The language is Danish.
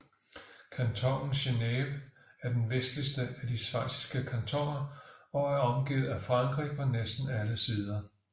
Kantonen Geneve er den vestligste af de schweiziske kantoner og omgivet af Frankrig på næsten alle sider